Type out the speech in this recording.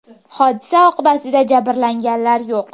Hodisa oqibatida jabrlanganlar yo‘q.